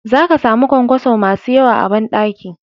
Za ka samu ƙwanƙwaso masu yawa a banɗaki.